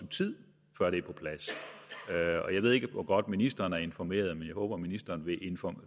tid før det er på plads jeg ved ikke hvor godt ministeren er informeret men jeg håber at ministeren vil